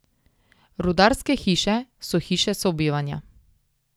Rudarske hiše so hiše sobivanja.